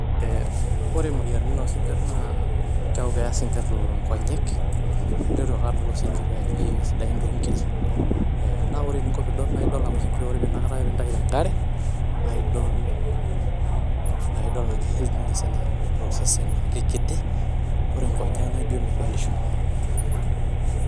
Ee ore moyiaritin oosinkir ee kiaku keya isinkir nkonyek ,idol ake ajo ore osinkiri ijo mee sidan too nkiri . naa ore eninko tenidol naa ore inakata pintayu tenkare naa idol naa idol naake healthiness enye amu ore osesen naa kikiti ore nkonyek na ijo medolisho .